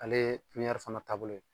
Ale ye pipiɲɛri fana taabolo ye